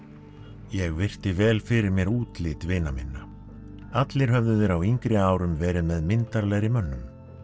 ég virti vel fyrir mér útlit vina minna allir höfðu þeir á yngri árum verið með myndarlegri mönnum